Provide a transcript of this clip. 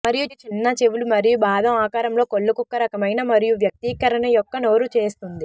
మరియు చిన్న చెవులు మరియు బాదం ఆకారంలో కళ్ళు కుక్క రకమైన మరియు వ్యక్తీకరణ యొక్క నోరు చేస్తుంది